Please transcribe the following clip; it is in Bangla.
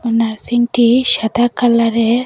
নার্সিং -টি সাদা কালারের -এর।